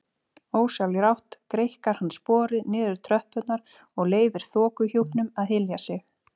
Ósjálfrátt greikkar hann sporið niður tröppurnar og leyfir þokuhjúpnum að hylja sig.